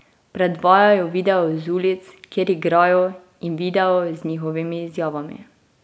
Predvajajo video z ulic, kjer igrajo, in video z njihovimi izjavami.